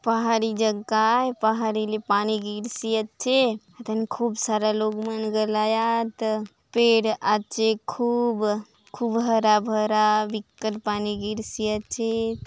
पहाड़ी जग्गा आय पहाड़ी ले पानी गिरसिया चे धन खूब सारा लोग मन गलायात पेड़ आचे खूब खुब हरा -भरा बिक्कट पानी गिरसि आचे।